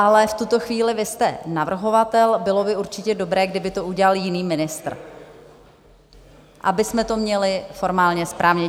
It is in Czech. Ale v tuto chvíli vy jste navrhovatel, bylo by určitě dobré, kdyby to udělal jiný ministr, abychom to měli formálně správně.